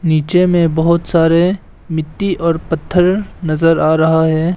नीचे में बहुत सारे मिट्टी और पत्थर नजर आ रहा है।